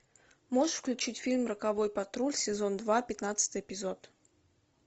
можешь включить фильм роковой патруль сезон два пятнадцатый эпизод